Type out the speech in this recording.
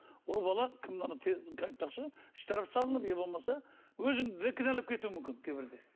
ол бала айтпақшы штраф салынып не болмаса өзіңді де кінәлап кетуі мүмкін кейбірде